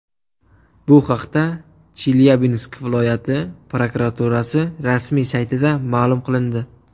Bu haqda Chelyabinsk viloyati prokuraturasi rasmiy saytida ma’lum qilindi .